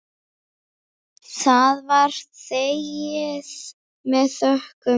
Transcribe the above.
Það var þegið með þökkum.